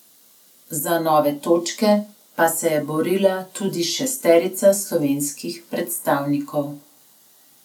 Za nove točke pa se je borila tudi šesterica slovenskih predstavnikov.